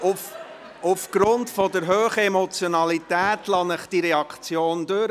Aufgrund der hohen Emotionalität lasse ich Ihnen diese Reaktion durch.